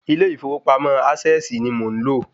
Ilé ìfowópamọ́ ásẹ̀sì ni mò ń lò.